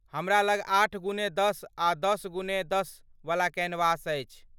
हमरा लग आठ गुने दश आ दश गुने दश वला कैनवस अछि।